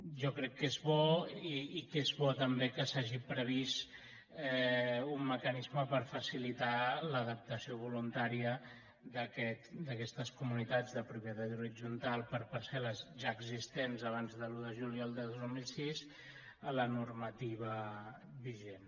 jo crec que és bo i que és bo també que s’hagi previst un mecanisme per facilitar l’adaptació voluntària d’aquestes comunitats de propietat horitzontal per parcelexistents abans de l’un de juliol de dos mil sis a la normativa vigent